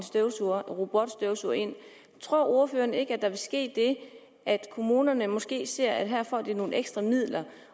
robotstøvsuger ind tror ordføreren ikke at der vil ske det at kommunerne måske ser at de her får nogle ekstra midler